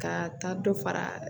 Ka taa dɔ fara